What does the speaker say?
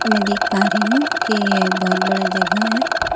मैं देख पा रही हूं कि यह बहुत बड़ा जगह है।